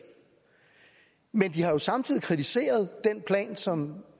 men de har jo samtidig kritiseret den plan som